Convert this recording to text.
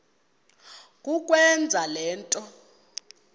kukwenza le nto